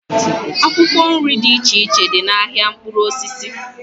Akwụkwọ nri dị iche iche dị n'ahịa mkpụrụ osisi